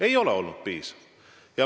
Ei ole.